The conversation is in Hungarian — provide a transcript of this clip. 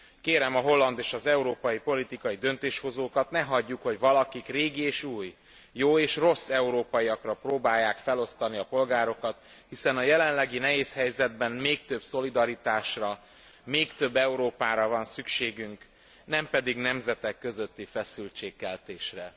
Kérem a holland és az európai politikai döntéshozókat, ne hagyjuk, hogy valakik régi és új, jó és rossz európaiakra próbálják felosztani a polgárokat. Hiszen a jelenlegi nehéz helyzetben még több szolidaritásra, még több Európára van szükségünk, nem pedig nemzetek közötti feszültségkeltésre.